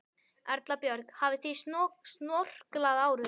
Erla Björg: Hafið þið snorklað áður?